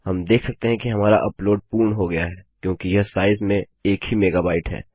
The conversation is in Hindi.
हम देख सकते हैं कि हमारा अपलोड पूर्ण हो गया है क्योंकि यह साइज में एक ही मेगाबाइट है